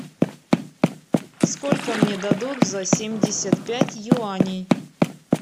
сколько мне дадут за семьдесят пять юаней